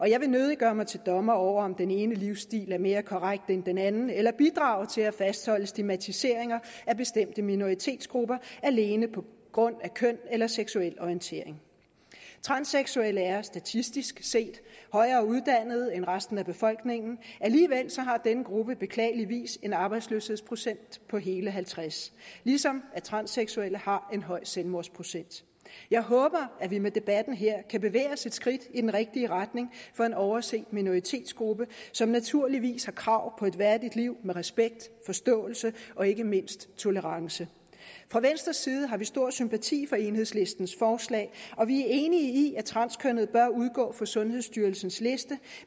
jeg vil nødig gøre mig til dommer over om den ene livsstil er mere korrekt end den anden eller bidrage til at fastholde stigmatiseringer af bestemte minoritetsgrupper alene på grund af køn eller seksuel orientering transseksuelle er statistisk set højere uddannet end resten af befolkningen alligevel har denne gruppe beklageligvis en arbejdsløshedsprocent på hele halvtreds ligesom at transseksuelle har en høj selvmordsprocent jeg håber at vi med debatten her kan bevæge os et skridt i den rigtige retning for en overset minoritetsgruppe som naturligvis har krav på et værdigt liv med respekt forståelse og ikke mindst tolerance fra venstres side har vi stor sympati for enhedslistens forslag og vi er enige i at transkønnede bør udgå fra sundhedsstyrelsens liste